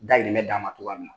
Dayirimɛ d'a ma cogoya min na.